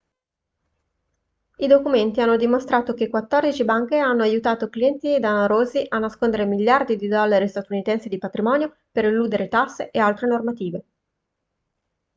i documenti hanno dimostrato che quattordici banche hanno aiutato clienti danarosi a nascondere miliardi di dollari statunitensi di patrimonio per eludere tasse e altre normative